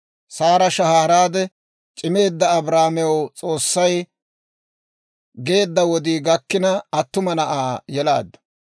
Saara shahaaraade, c'imeedda Abrahaamew S'oossay geedda wodii gakkina, attuma na'aa yelaaddu.